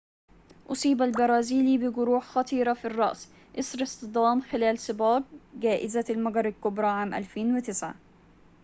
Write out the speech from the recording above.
أصيب البرازيلي بجروح خطيرة في الرأس إثر اصطدام خلال سباق جائزة المجر الكبرى عام 2009